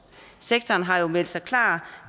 sektoren har jo meldt sig klar